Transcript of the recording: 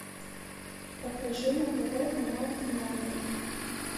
покажи на тв канал тномер